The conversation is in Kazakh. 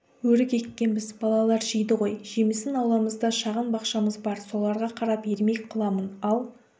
өрік еккенбіз балалар жейді ғой жемісін ауламызда шағын бақшамыз бар соларға қарап ермек қыламын ал